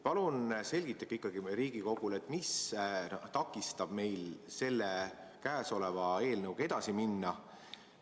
Palun selgitage Riigikogule, mis takistab meil käesoleva eelnõuga edasi minna.